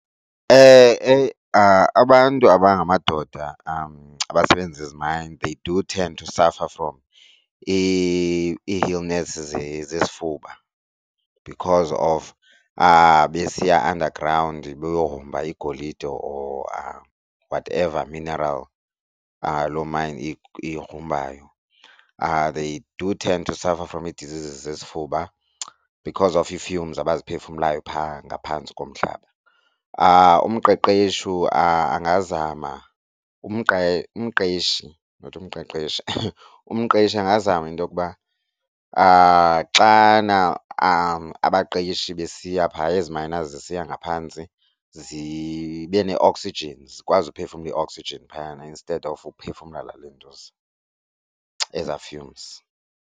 Abantu abangamadoda abasebenzisa eziayini they do tend to suffer from ii-illness zesifuba because of besiya underground beyogrumba igolide or whatever mineral loo mayini iyigrumbayo they do tend to suffer from ii-deseases zesifuba because of ii-fumes abaziphefumlayo phaa ngaphantsi komhlaba. Umqeqeshu angazama umqeshi not umqeqeshi, umqeshi angazama intokuba xana abaqeshi besiya phaa ezi minors zisiya ngaphantsi zibe ne-oxygen zikwazi uphefumla i-oxygen phayana instead of uphefumla le lentuza eza fumes.